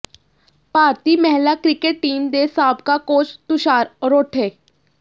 ਭਾਰਤੀ ਮਹਿਲਾ cricket team ਦੇ ਸਾਬਕਾ ਕੋਚ ਤੁਸ਼ਾਰ ਅਰੋਠੇ